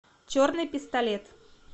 черный пистолет